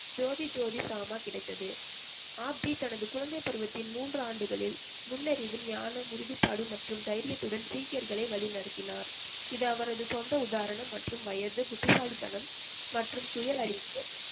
ஜோதி ஜோதி சாமா கிடைத்தது ஆப்ஜி தனது குழந்தைப் பருவத்தின் மூன்று ஆண்டுகளில் நுண்ணறிவு, ஞானம், உறுதிப்பாடு மற்றும் தைரியத்துடன் சீக்கியர்களை வழிநடத்தினார் இது அவரது சொந்த உதாரணம் மற்றும் வயது, புத்திசாலித்தனம், மற்றும் சுய அறிவு